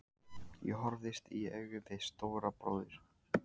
Ég horfðist í augu við Stóra bróður.